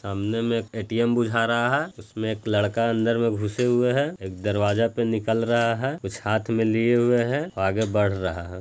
सामने में ए_टी_म बूझा रहा है उसमे एक लड़का अंदर में गुसे हुए है घे एक दरवाजा में निकल रहा है कुछ हाथ में लिए हुए है और आगे बढ़ रहा है।